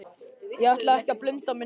Ég ætla ekki að binda mig neitt.